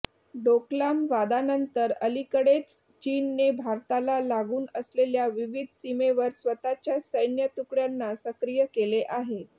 डोकलाम वादानंतर अलिकडेच चीनने भारताला लागून असलेल्या विविध सीमेवर स्वतःच्या सैन्य तुकडय़ांना सक्रीय केले आहे